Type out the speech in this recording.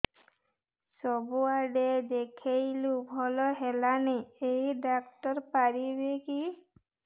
ସବୁଆଡେ ଦେଖେଇଲୁ ଭଲ ହେଲାନି ଏଇ ଡ଼ାକ୍ତର ପାରିବେ କି